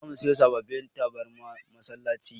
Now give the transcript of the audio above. Zamu siyo sababbin tabarmar masallaci.